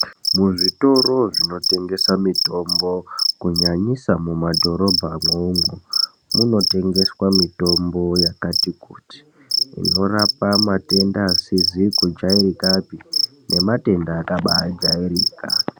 Muzvitoro zvinotengesa mitombo kunyanyisa mumadhorobhamwo umwo munotengeswa mitombo yakati kuti, inorapa matenda asizi kujairikapi nematenda akabaajairika.